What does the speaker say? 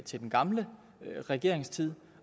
til den gamle regerings tid